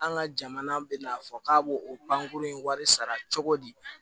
An ka jamana bɛ n'a fɔ k'a b'o o pankurun in wari sara cogo di